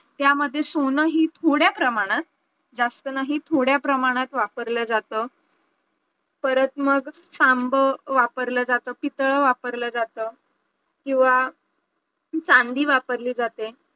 त्यामध्ये सोनंही थोड्या प्रमाणात जास्त नाही थोड्या प्रमाणात वापरल्या जातं परत मग तांब वापरलं जातं पितळ वापरलं जातं, किंवा चांदी वापरली जाते